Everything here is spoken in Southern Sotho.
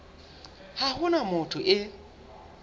ha ho na motho e